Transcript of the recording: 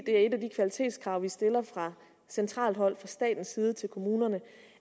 et af de kvalitetskrav vi stiller fra centralt hold fra statens side til kommunerne